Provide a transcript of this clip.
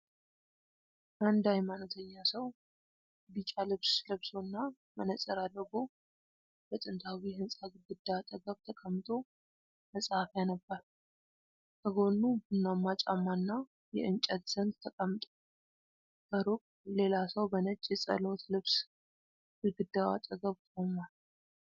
አንድ ሃይማኖተኛ ሰው ቢጫ ልብስ ለብሶና መነፅር አድርጎ፣ በጥንታዊ ሕንፃ ግድግዳ አጠገብ ተቀምጦ መጽሐፍ ያነባል። ከጎኑ ቡናማ ጫማና የእንጨት ዘንግ ተቀምጧል። ከሩቅ ሌላ ሰው በነጭ የጸሎት ልብስ ግድግዳው አጠገብ ቆሟል።